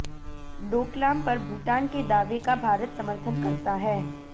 डोकलाम पर भूटान के दावे का भारत समर्थन करता है